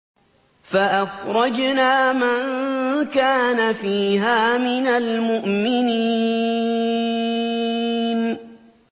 فَأَخْرَجْنَا مَن كَانَ فِيهَا مِنَ الْمُؤْمِنِينَ